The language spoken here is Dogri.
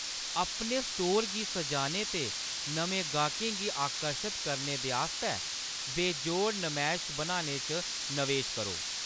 अपने स्टोर गी सजाने ते नमें गाह्‌‌कें गी आकर्शत करने दे आस्तै बेजोड़ नमैश बनाने च नवेश करो।